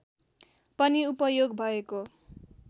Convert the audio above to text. पनि उपयोग भएको